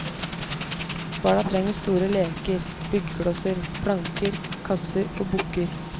Barna trenger store leker, byggeklosser, planker, kasser og bukker.